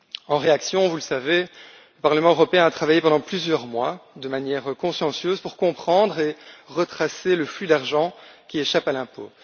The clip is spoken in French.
En réaction, vous le savez, le Parlement européen a travaillé pendant plusieurs mois de manière consciencieuse pour comprendre et retracer le flux d'argent qui échappe à l'impôt.